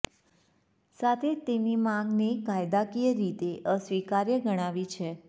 સાથે જ તેમની માગને કાયદાકીય રીતે અસ્વીકાર્ય ગણાવી છે